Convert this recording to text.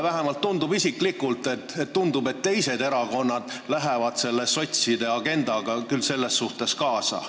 Vähemalt minule isiklikult tundub, et teised erakonnad lähevad selle sotside agendaga küll selles suhtes kaasa.